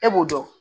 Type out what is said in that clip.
E b'o dɔn